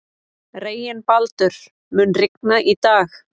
Reginbaldur, mun rigna í dag?